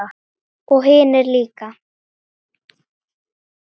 Og hinir líka.